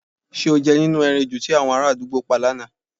S̩e o je̩ nínú e̩ran ejò tí àwo̩n aráàdúgbò pa lánàá?